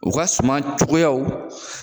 O ka suma cogoyaw.